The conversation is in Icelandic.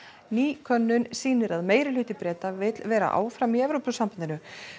ný könnun sýnir að Breta vill vera áfram í Evrópusambandinu